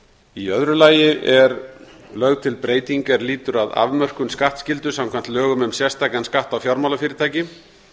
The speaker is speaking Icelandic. í öðru lagi er lögð til breyting er lýtur að afmörkun skattskyldu samkvæmt lögum um sérstakan skatt á fjármálafyrirtæki